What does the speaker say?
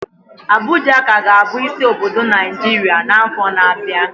Abuja ka ga-abụ isi obodo Naijiria n'afọ na-abịa